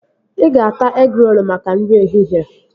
Ị ga-ata egịrolu maka nri ehihie